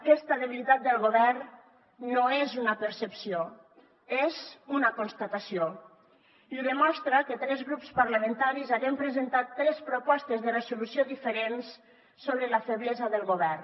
aquesta debilitat del govern no és una percepció és una constatació i ho demostra que tres grups parlamentaris haguem presentat tres propostes de resolució diferents sobre la feblesa del govern